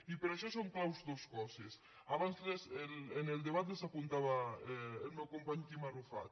i per a això són clau dos coses abans en el debat les apuntava el meu company quim arrufat